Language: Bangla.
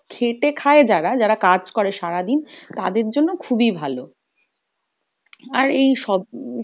খেটে খায় যারা, যারা কাজ করে সারাদিন তাদের জন্য খুবই ভালো। আর এই সব